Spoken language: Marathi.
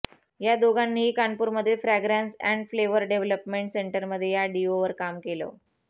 या दोघांनीही कानपूरमधील फ्रँग्रॅन्स अँड फ्लेव्हर डेव्हलमेंट सेंटरमध्ये या डिओवर काम केलं